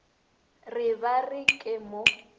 re ba re ke mo